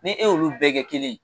Ni e y' olu bɛɛ kɛ kelen.